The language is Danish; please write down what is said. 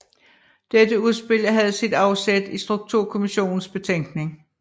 Dette udspil havde sit afsæt i Strukturkommissionens betænkning